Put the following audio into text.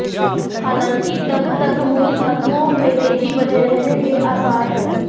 हालांकि तब तक मूल धातुओं में तेजी बने रहने के आसार हैं